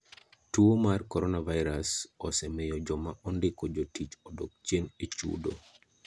Tuo mar coronavirus osemiyo joma ondiko jotich odok chien e chudo.